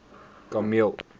kameel